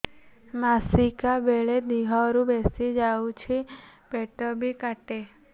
ମାସିକା ବେଳେ ଦିହରୁ ବେଶି ଯାଉଛି ପେଟ ବି କାଟେ